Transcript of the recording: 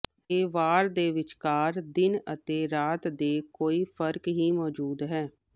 ਇਹ ਵਾਰ ਦੇ ਵਿਚਕਾਰ ਦਿਨ ਅਤੇ ਰਾਤ ਦੇ ਕੋਈ ਫ਼ਰਕ ਹੀ ਮੌਜੂਦ ਹੈ